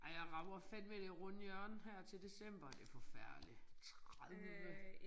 Ej jeg rammer fandeme det runde hjørne her til december det for forfærdeligt 30